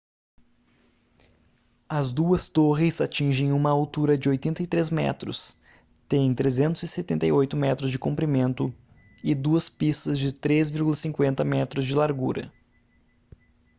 as duas torres atingem uma altura de 83 metros têm 378 metros de comprimento e duas pistas de 3,50 m de largura